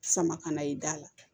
Sama ka na i da la